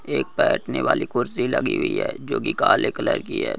एक बैठने वाली कुर्सी लगी हुई है जो की काले कलर की है।